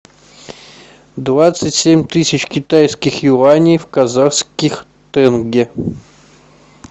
двадцать семь тысяч китайских юаней в казахских тенге